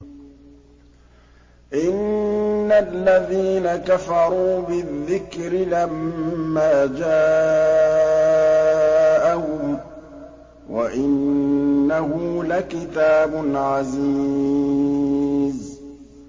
إِنَّ الَّذِينَ كَفَرُوا بِالذِّكْرِ لَمَّا جَاءَهُمْ ۖ وَإِنَّهُ لَكِتَابٌ عَزِيزٌ